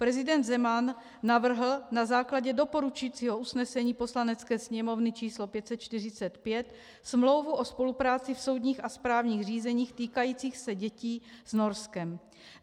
Prezident Zeman navrhl na základě doporučujícího usnesení Poslanecké sněmovny č. 545 smlouvu o spolupráci v soudních a správních řízeních týkajících se dětí s Norskem.